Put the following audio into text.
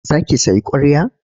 Za ki sayi ƙwarya?